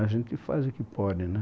A gente faz o que pode, né?